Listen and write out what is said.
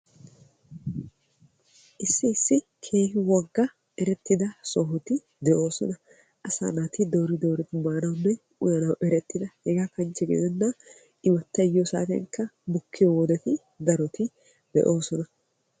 Issi issi keehi wogga erettida sohoti de'oosona. Asaa naati doori dooridi maanawunne uyanaw erettida hegaa kanchche gidennan imattay yiyo saatiyankka mokkiyo wodeti daroti de'oosona.